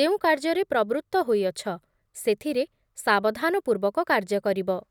ଯେଉଁ କାର୍ଯ୍ୟରେ ପ୍ରବୃତ୍ତ ହୋଇଅଛି, ସେଥିରେ ସାବଧାନପୂର୍ବକ କାର୍ଯ୍ୟ କରିବ ।